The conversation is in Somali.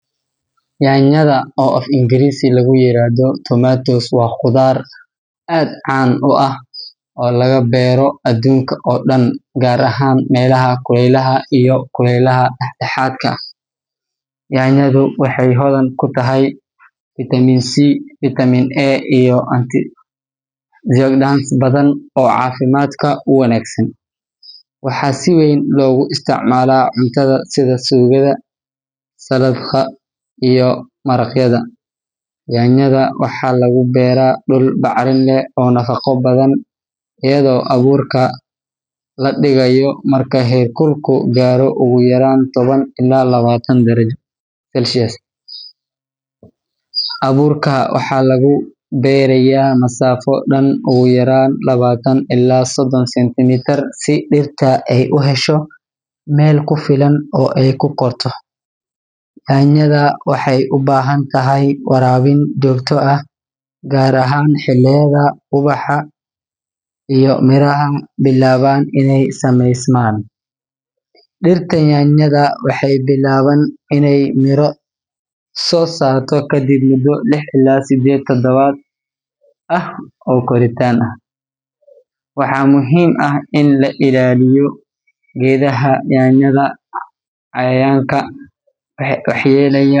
Yaanyada, oo af-Ingiriisi lagu yiraahdo tomatoes, waa khudaar aad caan u ah oo laga beero adduunka oo dhan, gaar ahaan meelaha kuleylaha iyo kulaylaha dhexdhexaadka ah. Yaanyadu waxay hodan ku tahay fitamiin C, fitamiin A, iyo antioxidants badan oo caafimaadka u wanaagsan. Waxaa si weyn loogu isticmaalaa cuntada sida suugada, saladhka, iyo maraqyada. Yaanyada waxaa lagu beeraa dhul bacrin leh oo nafaqo badan, iyadoo abuurka la dhigayo marka heerkulku gaaro ugu yaraan toban ilaa labaatan darajo Celsius. Abuurka waxaa lagu beerayaa masaafo dhan ugu yaraan labaatan ilaa soddon sentimitir si dhirta ay u hesho meel ku filan oo ay ku korto. Yaanyada waxay u baahan tahay waraabin joogto ah, gaar ahaan xilliyada ubaxa iyo miraha bilaabaan inay sameysmaan. Dhirta yaanyada waxay bilaabaan inay miro soo saaraan kadib muddo lix ilaa siddeed toddobaad ah oo koritaan ah. Waxaa muhiim ah in la ilaaliyo geedaha yaanyada cayayaanka waxyeelleeya.